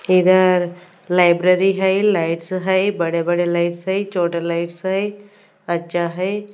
इधर लाइब्रेरी हैं लाइट्स हैं बड़े बड़े लाइट्स हैं छोटा लाइट्स हैं अच्छा हैं।